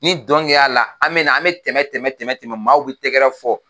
Ni dɔn kɛra la, an be na an be tɛmɛ tɛmɛ maaw be tɛgɛrɛ fɔ.